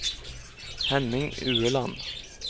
Henning Ueland